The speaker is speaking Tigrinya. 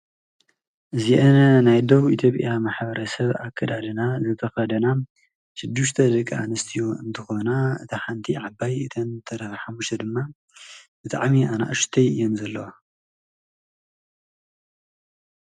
አዚእነ ናይ ዶቡ ኢቶጲያ ማሕብረሰብ ኣካዳዲና ዝተከደና ሸዲሸተ ደቅ ኣኒስትዮ እኒትኮናእታ ሓኒት ዓባይ አተነ ዝተረፋ ሓምሕተ ዲማብጠዕሚ ኣናእሽተይእየነ ዘለዋ፡፡